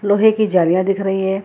लोहे की जालिया दिख रही है।